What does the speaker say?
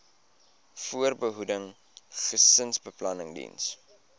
voorbehoeding gesinsbeplanning diens